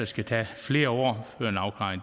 skal tage flere år